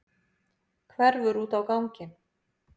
Hverfur út á ganginn.